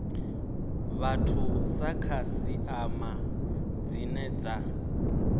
vhathu sa khasiṱama dzine dza